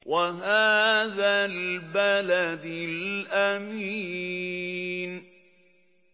وَهَٰذَا الْبَلَدِ الْأَمِينِ